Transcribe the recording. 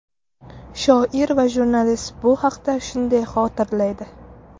Shoir va jurnalist bu haqda shunday xotirlaydi .